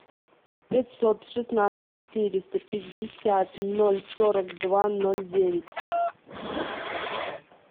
пятьсот шестнадцать четыреста пятьдесят ноль сорок два ноль девять